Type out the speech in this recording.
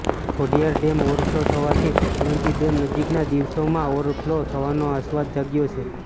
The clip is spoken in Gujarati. ખોડીયાર ડેમ ઓવરફ્લો થવાથી શેત્રુંજી ડેમ નજીકના દિવસોમાં ઓવરફ્લો થવાનો આશાવાદ જાગ્યો છે